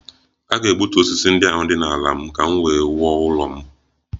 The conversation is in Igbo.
A ga- egbutu osisi ndị ahụ dị n' ala m ka m wee wuo ụlọ m.